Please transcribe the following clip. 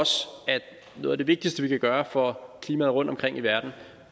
noget af det vigtigste vi kan gøre for klimaet rundtomkring i verden